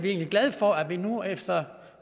egentlig glade for at vi nu efter